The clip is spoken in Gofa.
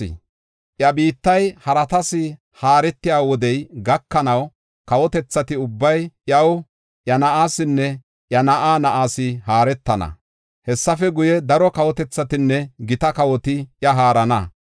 Iya biittay haratas haaretiya wodey gakanaw kawotethati ubbay iyaw, iya na7aasinne iya na7aa na7aas haaretana. Hessafe guye, daro kawotethatinne gita kawoti iya haarana.’